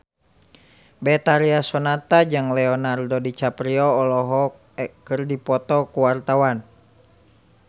Betharia Sonata jeung Leonardo DiCaprio keur dipoto ku wartawan